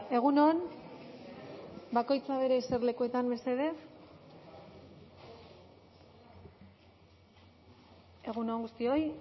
egun on bakoitza bere eserlekuetan mesedez egun on guztioi